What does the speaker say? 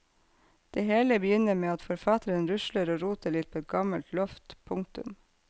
Det hele begynner med at forfatteren rusler og roter litt på et gammelt loft. punktum